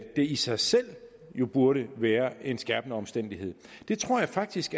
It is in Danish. i sig selv burde være en skærpende omstændighed det tror jeg faktisk